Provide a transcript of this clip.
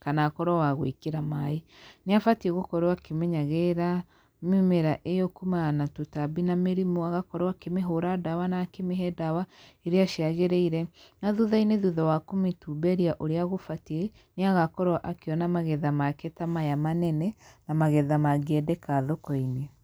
kana akorwo wagwĩkĩra maĩ, nĩ abatiĩ gũkorwo akĩmenyagĩrĩra mĩmera io kuumana na tũtambi, na mĩrĩmũ, agakorwo akĩmĩhũra ndawa na akĩmĩhe ndawa iria ciagĩrĩire, na thutha-inĩ thutha wa kũmĩtumberia ũrĩa gũbatiĩ nĩagakorwo akĩona magetha make tamaya manene, na magetha mangĩendeka thoko-inĩ.